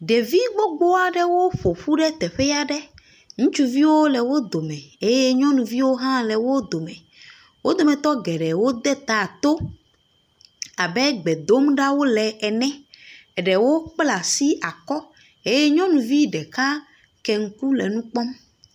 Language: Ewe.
Ɖevi gbogbo aɖewo ƒoƒu ɖe teƒe aɖe, ŋutsuviwo nɔ wo dome eye nyɔnuviwo hã le wo dome wo doemtɔ geɖewo de ta to abe gbe dom ɖa wole ene eɖewo kpla asi akɔ eye nyɔnuvi ɖeka kpla asi akɔ hele nu kpɔm.